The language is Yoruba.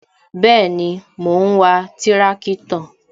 Bẹẹni, mo ń wa tirakitọ